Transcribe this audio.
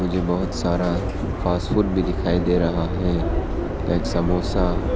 मुझे बहोत सारा फास्टफूड भी दिखाई दे रह है एक समोसा--